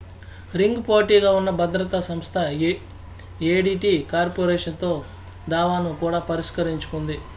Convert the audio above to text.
ring పోటీగా ఉన్న భద్రతా సంస్థ ఏడిటి కార్పొరేషన్ తో దావాను కూడా పరిష్కరించుకుంది